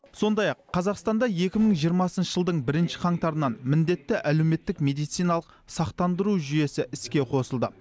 сондай ақ қазақстанда екі мың жиырмасыншы жылдың бірінші қаңтарынан міндетті әлеуметтік медициналық сақтандыру жүйесі іске қосылды